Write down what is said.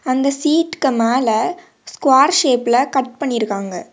அந்த சீட்க்கு மேல ஸ்கோர் ஷேப்ல கட் பண்ணிருக்காங்க.